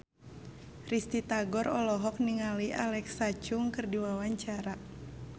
Risty Tagor olohok ningali Alexa Chung keur diwawancara